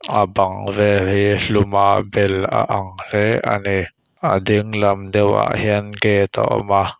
a bang vel hi hlum a bel a ang hle a ni a dinglam deuhah hian gate a awm a.